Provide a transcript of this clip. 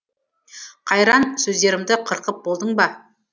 қайран сөздерімді қырқып болдың ба